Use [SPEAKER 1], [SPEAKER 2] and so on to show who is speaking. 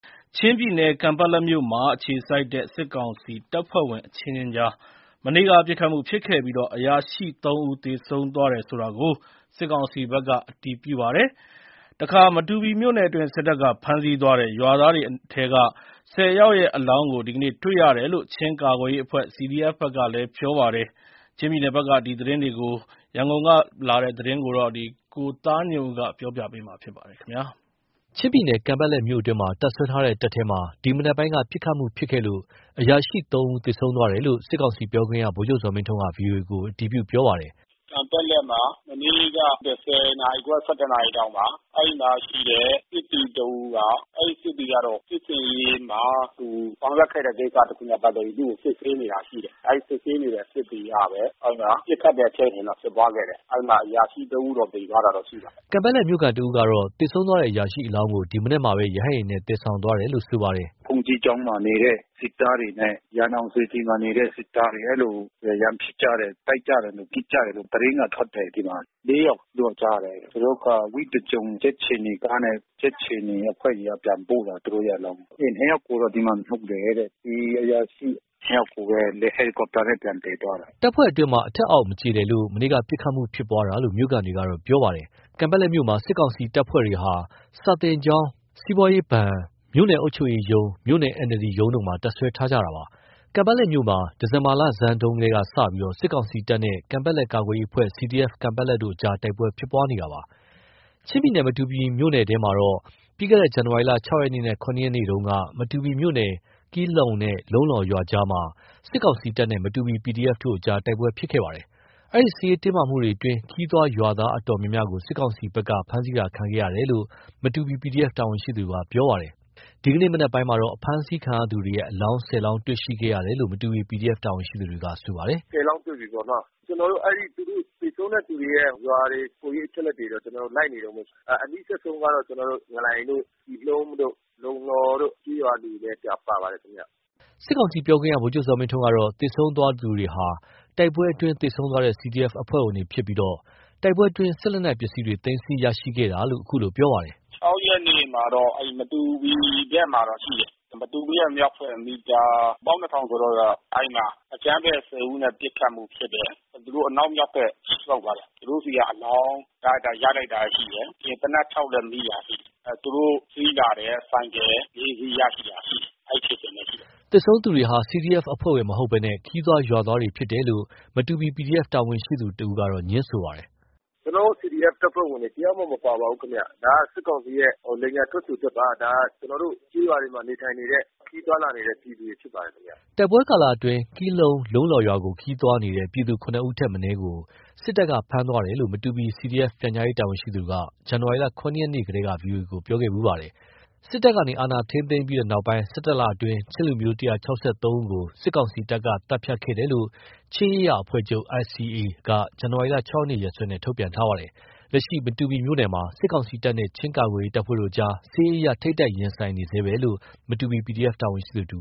[SPEAKER 1] ချင်းပြည်နယ် ကန်ပက်လက်မြို့ အခြေစိုက်တဲ့ စစ်ကောင်စီတပ်ဖွဲ့ဝင် အချင်းချင်းကြား မနေ့က ပစ်ခတ်မှုဖြစ်ခဲ့ပြီး အရာရှိ ၃ ဦး သေဆုံးသွားတယ်ဆိုတာကို စစ်ကောင်စီဘက်က အတည်ပြုပါတယ်။ မတူပီမြို့နယ်အတွင်း စစ်တပ်က ဖမ်းဆီးသွားတဲ့ ရွာသားတွေအနက် ၁၀ ဦးရဲ့ အလောင်းကို ဒီကနေ့ တွေ့ရတယ်လို့ ချင်းကာကွယ်ရေးအဖွဲ့ (CDF) ဘက်က ပြောပါတယ်။ ချင်းပြည်နယ်ဘက်ကသတင်း ရန်ကုန်က ပေးပို့ထားတာကို ကိုသားညွန့်ဦး ပြောပြမှာပါ။ ချင်းပြည်နယ် ကန်ပက်လက်မြို့အတွင်းမှာ တပ်စွဲထားတဲ့ စစ်တပ်ထဲ ဒီမနက်ပိုင်းက ပစ်ခတ်မှုဖြစ်ပွားခဲ့လို့ အရာရှိ ၃ ဦး သေဆုံးသွားတယ်လို့ စစ်ကောင်စီပြောခွင့်ရ ဗိုလ်ချုပ်ဇော်မင်းထွန်းက ဗွီအိုအေကို အတည်ပြု ပြောဆိုပါတယ်။
[SPEAKER 2] “ကန်ပက်လက်မှာ မနေ့က ၁၀ နာရီခွဲ ၁၁ နာရီလောက်မှာ အဲဒီမှာရှိတဲ့ စစ်သည်တဦးက ၊ အဲဒီ စစ်သည်ကတော့ စစ်ဆင်ရေးမှာ သူဆောင်ရွက်ခဲ့တဲ့ကိစ္စနဲ့ ပတ်သက်ပြီးတော့ သူ့ကို စစ်ဆေးနေတာရှိတယ်။ အဲဒီ စစ်ဆေးနေတဲ့ စစ်သည်ကပဲ ပစ်ခတ်တဲ့ဖြစ်စဉ်တော့ ဖြစ်ပွားခဲ့တယ်။ အဲဒီမှာ အရာရှိ ၃ ဦးတော့ သေသွားတာတော့ ရှိပါတယ်
[SPEAKER 1] ။” ကန်ပက်လက်မြို့ခံ တဦးကတော့ သေဆုံးသွားတဲ့ အရာရှိအလောင်းကို ဒီမနက်မှာ ရဟတ်ယာဉ်နဲ့ သယ်ဆောင်သွားတယ်လို့ ပြောပါတယ်။
[SPEAKER 2] “ဘုန်းကြီးကျောင်းမှာနေတဲ့ စစ်သားတွေနဲ့ ရန်အောင်စေတီမှာနေတဲ့ စစ်သားတွေ အဲဒီလို ရန်ဖြစ်ကြတယ်။ တိုက်ကြတယ်၊ ပစ်ကြတယ်လို့ အဲဒီလို သတင်းက ထွက်နေတယ်။ ၄ ယောက်လို့ ကြားတယ်။ သူတို့က ဝိသကြုံကြက်ခြေနီကားနဲ့ ကြက်ခြေနီအဖွဲ့တွေက ပြန်ပို့တယ်လို့ ကြားတယ်၊ သူတို့ရဲ့အလောင်း။ နှစ်ယောက်ကိုတော့ ဒီမှာမြှုပ်တယ်တဲ့။ ဒီအရာရှိ နှစ်ယောက်ကိုပဲ ဟယ်လီကော်ပတာနဲ့ ပြန်သယ်သွားတယ်။
[SPEAKER 1] ၁၁ နာရီခွဲမှာ အဲဒီအရာရှိနှစ်ယောက်ရဲ့ အလောင်းကို ပြန်သယ်သွားတယ်။” တပ်ဖွဲ့အတွင်း အထက်အောက် မကျေလည်လို့ မနေ့က ပစ်ခတ်မှု ဖြစ်ပွားတာလို့ မြို့ခံတွေက ပြောပါတယ်။ ကန်ပက်လက်မြို့မှာ စစ်ကောင်စီ တပ်ဖွဲ့ဝင်တွေက စာသင်ကျောင်း၊ စီးပွားရေးဘဏ်၊ မြို့နယ်အုပ်ချုပ်ရေးရုံး၊ မြို့နယ် NLD ရုံးတို့မှာ တပ်စွဲထားတာပါ။ ကန်ပက်လက်မြို့မှာ ဒီဇင်ဘာ လဆန်းပိုင်းကစပြီး စစ်ကောင်စီတပ်နဲ့ ကန်ပက်လက် ကာကွယ်ရေးအဖွဲ့ (CDF Kanpetlet) တို့ တိုက်ပွဲဖြစ်ပွားနေပါတယ်။ ချင်းပြည်နယ် မတူပီမြို့နယ်ထဲမှာတော့ ပြီးခဲ့တဲ့ ဇန်နဝါရီ ၆ ရက်နေ့နဲ့ ၇ ရက်နေ့တုန်းက မတူပီမြို့နယ် ကီလှုန်းနဲ့ လုံလှောရွာကြားမှာ စစ်ကောင်စီတပ်နဲ့ မတူပီ PDF တို့ကြား တိုက်ပွဲဖြစ်ပွားခဲ့တာပါ။ အဲဒီ စစ်ရေးတင်းမာမှုအတွင်း ခရီးသွား ရွာသားအတော်များများ စစ်ကောင်စီတပ်ရဲ့ ဖမ်းဆီးမှုကို ခံရတယ်လို့ မတူပီ PDF တာဝန်ရှိသူက ပြောပါတယ်။ ဒီနေ့မနက်မှာ အဖမ်းဆီးခံရသူတွေရဲ့ အလောင်း ၁၀ လောင်း တွေ့ရှိခဲ့တယ်လို့ မတူပီ PDF တာဝန်ရှိသူ တဦးက ပြောပါတယ်။ “
[SPEAKER 2] ခုလောလောဆယ် ကျနော်တို့ ၁၀ လောင်းတွေ့ပြီပေါ့နာ်။ ကျနော်တို့ အဲဒီ သေဆုံးတဲ့သူတွေရဲ့ ရွာတွေ၊ ကိုယ်ရေးအချက်အလက်တွေ ကျနော်တို့ လိုက်နေတုန်းပဲ။ အနီးစပ်ဆုံးကတော့ ကျနော်တို့ ငလိုင်တို့ ကီလှုန်းတို့ လုံလှောတို့ ကျေးရွာတွေပဲ ပါပါတယ်ခင်ဗျ။”
[SPEAKER 1] စစ်ကောင်စီပြောခွင့်ရ ဗိုလ်ချုပ်ဇော်မင်းထွန်းကတော့ သေဆုံးတဲ့သူတွေဟာ တိုက်ပွဲအတွင်း သေဆုံးသွားတဲ့ CDF အဖွဲ့ဝင်တွေဖြစ်ပြီး တိုက်ပွဲအတွင်း စစ်လက်နက်ပစ္စည်းတွေ သိမ်းဆည်းရရှိခဲ့တယ်လို့ အခုလိုပြောပါတယ်။
[SPEAKER 2] “၆ ရက်နေ့မှာတော့ အဲဒီ မတူပီဘက်မှာတော့ ရှိတယ်။ မတူပီရဲ့မြောက်ဘက် မီတာ ၁၂,၀၀၀ ကျော်လောက်က အဲဒီမှာ အကြမ်းဖက် ၁၀ ဦးနဲ့ ပစ်ခတ်မှုဖြစ်တယ်။ သူတို့ အနောက်မြောက်ဘက် ဆုတ်သွားတယ်။ သူတို့ဆီက အလောင်းရလိုက်တာ ရှိတယ်။ ပြီးရင် သေနတ် ၆ လက်မိတာ ရှိတယ်။ သူတို့စီးလာတဲ့ ဆိုင်ကယ် ၄ စီး ရလိုက်တာရှိတယ်။ အဲဒီဖြစ်စဉ်ပဲရှိတယ်
[SPEAKER 1] ။” သေဆုံးသူတွေဟာ CDF အဖွဲ့ဝင်တွေ မဟုတ်ဘဲ ခရီးသွား ရွာသားတွေသာ ဖြစ်တယ်လို့ မတူပီ PDF တာဝန်ရှိသူတဦးက ငြင်းဆိုပါတယ်။
[SPEAKER 2] “ကျနော်တို့ CDF တပ်ဖွဲ့ဝင်တွေ တယောက်မှ မပါပါဘူးဗျ။ ဒါက စစ်ကောင်စီရဲ့ လိမ်ညာထွက်ဆိုချက်ပါ။ ဒါ ကျနော်တို့ ကျေးရွာတွေမှာ နေထိုင်နေတဲ့ ခရီးသွားလာနေတဲ့သူတွေ ဖြစ်ပါတယ်ခင်ဗျ။
[SPEAKER 1] ” တိုက်ပွဲကာလအတွင်း ကီလှုန်း၊ လုံလှောရွာကို ခရီးသွားနေတဲ့ ပြည်သူ ၇ ဦးထက် မနည်းကို စစ်တပ်က ဖမ်းသွားတယ်လို့ မတူပီ CDF ပြန်ကြားရေးတာဝန်ရှိသူက ဇန်နဝါရီ ၇ ရက်နေ့တုန်းက ဗွီအိုအေကို ပြောခဲ့ပါတယ်။ စစ်တပ်ကနေ အာဏာ ထိန်းသိမ်းခဲ့ပြီးတဲ့နောက် ၁၁ လအတွင်း ချင်းလူမျိုး ၁၆၃ ဦးကို စစ်ကောင်စီတပ်က သတ်ဖြတ်ခဲ့တယ်လို့ ချင်းရေးရာအဖွဲ့ချုပ် (ICA)က ဇန်နဝါရီ ၆ ရက်နေ့ ရက်စွဲနဲ့ သတင်းထုတ်ပြန်ထားပါတယ်။ လက်ရှိ မတူပီမြို့နယ်မှာ စစ်ကောင်စီတပ်နဲ့ ချင်းကာကွယ်ရေးတပ်ဖွဲ့တို့အကြား စစ်ရေးအရ ထိပ်တိုက် ရှိနေဆဲပဲလို့ မတူပီ PDF တာဝန်ရှိသူ